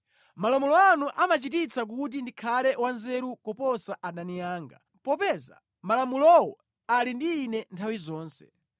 Malamulo anu amachititsa kuti ndikhale wanzeru kuposa adani anga, popeza malamulowo ali ndi ine nthawi zonse.